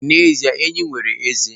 N'ezie, enyí nwere ezé